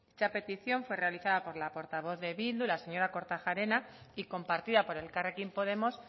esa petición fue realizada por la portavoz de bildu la señora kortajarena y compartida por elkarrekin podemos